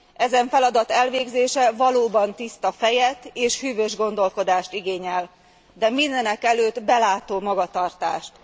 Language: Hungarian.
Ezen feladat elvégzése valóban tiszta fejet és hűvös gondolkodást igényel, de mindenekelőtt belátó magatartást.